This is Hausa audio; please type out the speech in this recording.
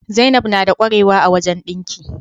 Zainab nada qwarewa a wajan dinki